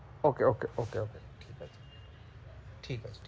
Okay, okay, okay, okay ঠিক আছে ঠিক আছে।